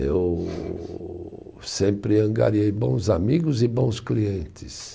Eu sempre angariei bons amigos e bons clientes.